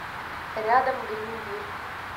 рядом грин бир